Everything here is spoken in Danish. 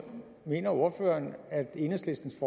mener ordføreren at enhedslistens